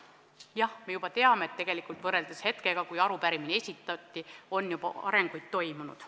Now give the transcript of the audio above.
Jah, me teame, et võrreldes hetkega, kui arupärimine esitati, on juba arenguid toimunud.